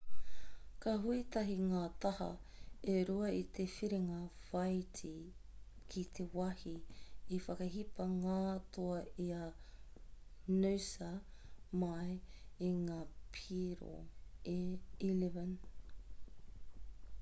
ka hui tahi ngā taha e rua i te whiringa whāiti ki te wāhi i whakahipa ngā toa i a noosa mai i ngā piro e 11